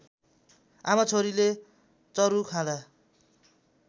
आमाछोरीले चरु खाँदा